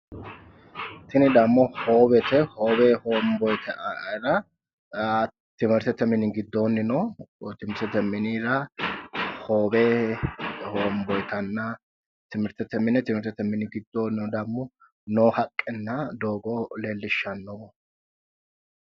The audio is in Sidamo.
Tin damo hoowete hoowe hoonboyitara timrtete mini gidooni no, timiritete minra hoowe hoonboyitana timiritete gidonino damo noo haqqena doogo leelishanoho